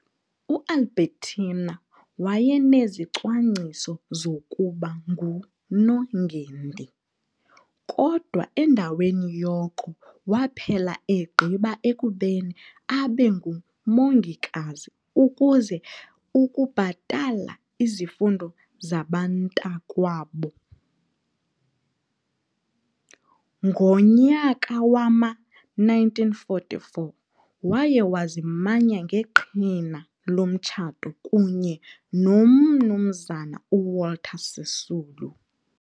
U- Albertina wayenezicwangciso zokuba nguNongendi, kodwa endaweni yoko waphela egqiba ekubeni abe ngumongikazi ukuze ukubhatala izifundo zabantakwabo. Ngomnyaka wama- 1944 waye wazimanya ngeqhina lomtshato kunye noMnumzana uWalter Sisulu.